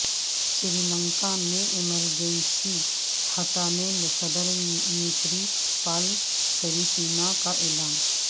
سری لنکا میں ایمرجنسی ہٹانے صدر میتری پال سریسینا کا اعلان